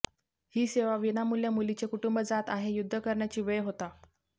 ही सेवा विनामुल्य मुलीचे कुटुंब जात आहे युध्द करण्याची वेळ होता